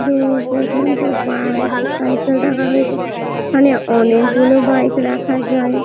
দূর পর্যন্ত bike cycle রাখা রয়েছে এখানে অনেক গুলো বাইক রাখা যায় ।